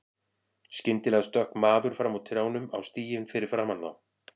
Skyndilega stökk maður fram úr trjánum á stíginn fyrir framan þá.